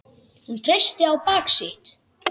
Hún treysti á bak sitt.